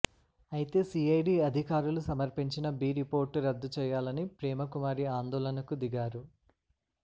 అయితే సీఐడీ అధికారులు సమర్పించిన బి రిపోర్టు రద్దు చెయ్యాలని ప్రేమకుమారి ఆందోళనకు దిగారు